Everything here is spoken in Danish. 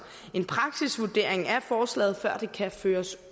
en praksisvurdering af forslaget før det kan føres